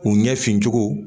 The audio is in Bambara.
U ɲɛ fin cogo